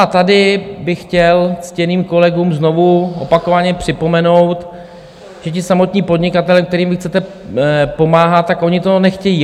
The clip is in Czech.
A tady bych chtěl ctěným kolegům znovu opakovaně připomenout, že ti samotní podnikatelé, kterým vy chcete pomáhat, tak oni to nechtějí.